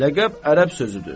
Ləqəb ərəb sözüdür.